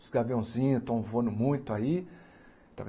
Os gaviãozinhos estão voando muito aí.